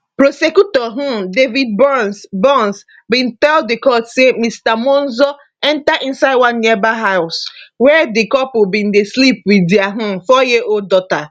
prosecutor um david burns burns bin tell di court say mr monzo enta inside one nearby house wia di couple bin dey sleep wit dia um fouryearold daughter